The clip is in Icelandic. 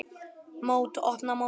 Mót: Opna mótið